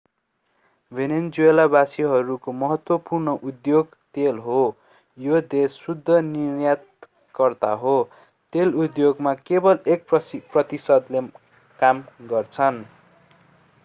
भेनेजुएलावासीहरूको महत्त्वपूर्ण उद्योग तेल हो। यो देश शुद्ध निर्यातकर्ता हो। तेल उद्योगमा केवल एक प्रतिशतले काम गर्छन्‌।